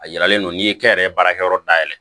A yiralen don n'i ye kɛn yɛrɛ baarakɛyɔrɔ dayɛlɛ